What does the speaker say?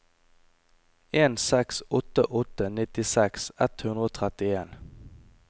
en seks åtte åtte nittiseks ett hundre og trettien